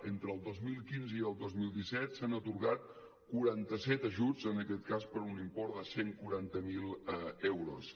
entre el dos mil quinze i el dos mil disset s’han atorgat quaranta set ajuts en aquest cas per un import de cent i quaranta miler euros